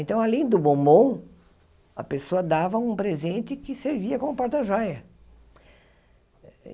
Então, além do bombom, a pessoa dava um presente que servia como porta-joia.